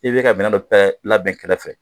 I bɛ ka minɛ dɔ labɛn kɛrɛfɛ